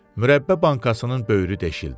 Mürəbbə bankasının böyrü deşildi.